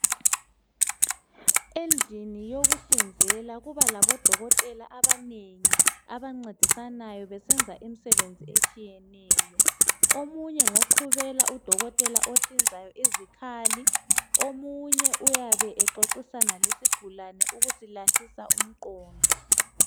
Endlini yokuhlinzela kuba labodokotela abanengi abancedisanayo besenza imisebenzi etshiyeneyo. Omunye ngoqhubela udokotela ohlinzayo izikhali, omunye uyabe exoxisana lesigulane ukusilahlisa umqondo